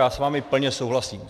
Já s vámi plně souhlasím.